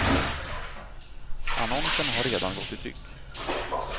Annonsen har redan gått i tryck.